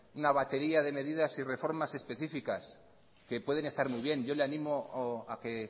una batería de medidas y reformas especificas que pueden estar muy bien yo le animo a que